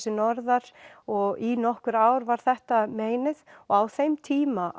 sig norðar og í nokkur ár var þetta meinið og á þeim tíma